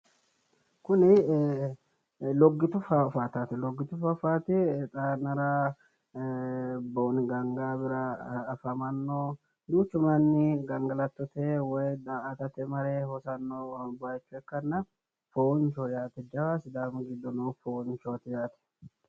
Kuni loggitu faaffaateeti. Loggitu faaffaate xaa yannara booni gaangaawira afamanno duuchu manni gangalatate woyi daa"atate mare hosanno bayicho ikkanna foonchoho yaate jawa sidaamu giddo noo foonchooti yaate.